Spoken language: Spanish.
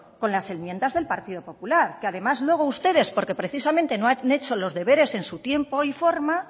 con las enmiendas del partido popular que además luego ustedes porque precisamente no han hecho los deberes en su tiempo y forma